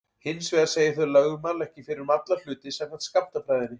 Hins vegar segja þau lögmál ekki fyrir um alla hluti samkvæmt skammtafræðinni.